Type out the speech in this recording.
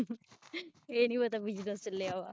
ਏਹ ਨਹੀ ਪਤਾ business ਚਲੇਆ ਵਾ